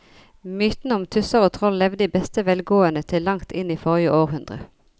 Mytene om tusser og troll levde i beste velgående til langt inn i forrige århundre.